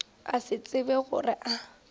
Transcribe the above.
a se tsebe gore a